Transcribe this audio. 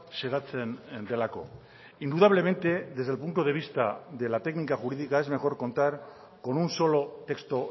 xedatzen delako indudablemente desde el punto de vista de la técnica jurídica es mejor contar con un solo texto